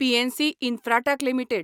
PNC Infratech limited